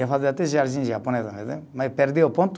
ia fazer até jardim japonês, mas perdi o ponto.